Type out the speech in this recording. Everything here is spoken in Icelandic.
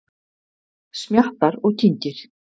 Smjattar og kyngir.